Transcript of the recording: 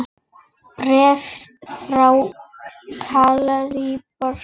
Bréf frá Gallerí Borg.